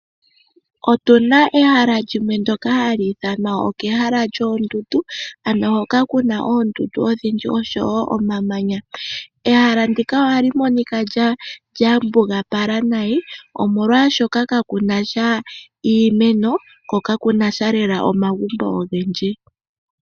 Otuna ehala lyimwe ndoka hali ithanwa okehala lyoondundu ano hoka kuna oondundu odhindji unene osho wo omamanya. Ehala ndika ohali monika lyambugapala nayi oshoka molwashoka kakunasha iimeno ko kakunasha lela omagumbo ogendji.